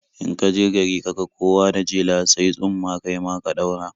In ka je gari ka ga kowa da jela, sayi tsumma kai ma ka ɗaura.